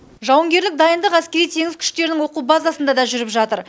жауынгерлік дайындық әскери теңіз күштерінің оқу базасында да жүріп жатыр